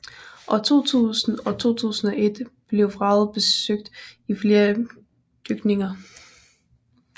År 2000 og 2001 blev vraget besøgt i flere dykninger